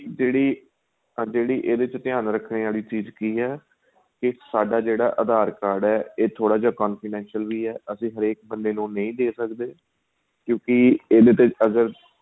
ਜਿਹੜੀ ਅਰ ਜਿਹੜੀ ਇਹਦੇ ਵਿੱਚ ਧਿਆਨ ਰੱਖਣੇ ਵਾਲੀ ਚੀਜ ਕੀ ਏ ਕੀ ਸਾਡਾ ਜਿਹੜਾ aadhar card ਏ ਏ ਥੋੜਾ ਜਾਂ confidential ਵੀ ਏ ਅਸੀਂ ਹਰੇਕ ਬੰਦੇ ਨੂੰ ਵੀ ਨਹੀਂ ਦੇ ਸਕਦੇ ਕਿਉਂਕਿ ਇਹਦੇ ਤੇ ਅਗਰ